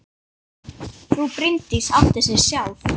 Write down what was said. Frú Bryndís átti sig sjálf.